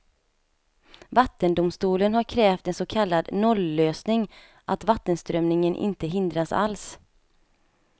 Vattendomstolen har krävt en så kallad nollösning, att vattenströmningen inte hindras alls.